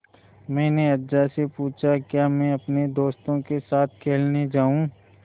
मैंने अज्जा से पूछा क्या मैं अपने दोस्तों के साथ खेलने जाऊँ